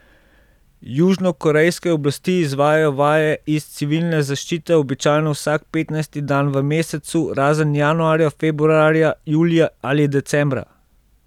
Južnokorejske oblasti izvajajo vaje iz civilne zaščite običajno vsak petnajsti dan v mesecu razen januarja, februarja, julija ali decembra.